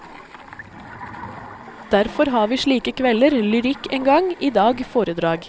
Derfor har vi slike kvelder, lyrikk en gang, i dag foredrag.